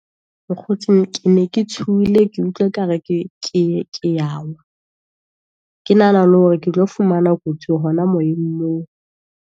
Mokgotsi ke tshohile, ke utlwe ekare ke ke ya wa, ke nahana le hore ke tlo fumana kotsi hona moyeng moo.